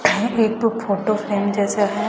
यह एक तो फोटो फ्रेम जैसा है।